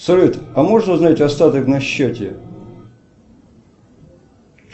салют а можно узнать остаток на счете